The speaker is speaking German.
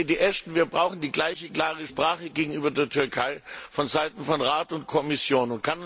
Lady Ashton, wir brauchen die gleiche klare Sprache gegenüber der Türkei von Seiten des Rates und der Kommission.